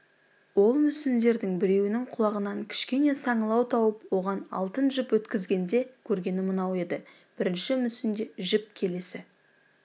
ол мүсіндердің біреуінің құлағынан кішкене саңылау тауып оған алтын жіп өткізгенде көргені мынау еді бірінші мүсінде жіп келесі